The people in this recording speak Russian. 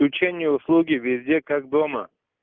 включение услуги везде как дома